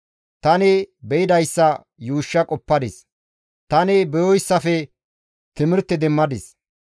Tani be7idayssa yuushsha qoppadis; tani beyooysafe timirte demmadis.